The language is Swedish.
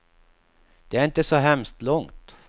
Det är inte så hemskt långt.